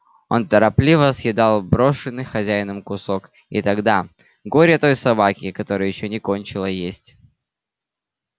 он торопливо съедал брошенный хозяином кусок и тогда горе той собаке которая ещё не кончила есть